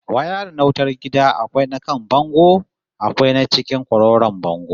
Wayarin na wutar gida akwai na kan bango akwai na cikin kwarkwaron bango